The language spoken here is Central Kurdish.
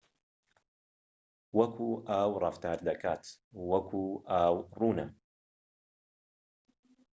وەکو ئاو ڕەفتار دەکات وەکو ئاو ڕوونە